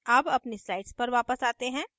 अब अपनी slide पर वापस आते हैं